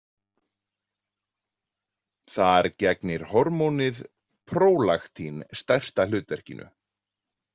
Þar gegnir hormónið prólaktín stærsta hlutverkinu.